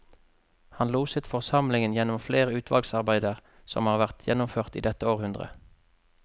Han loset forsamlingen gjennom flere utvalgsarbeider som har vært gjennomført i dette århundret.